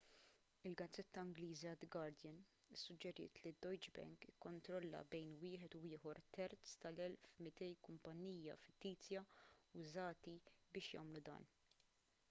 il-gazzetta ingliża the guardian issuġġeriet li d-deutsche bank ikkontrolla bejn wieħed u ieħor terz tal-1200 kumpanija fittizja użati biex jagħmlu dan